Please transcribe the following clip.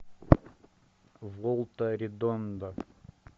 волта редонда